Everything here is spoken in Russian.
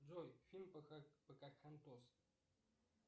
джой фильм покахонтас